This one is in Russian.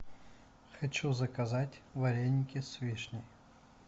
хочу заказать вареники с вишней